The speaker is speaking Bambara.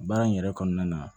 Baara in yɛrɛ kɔnɔna na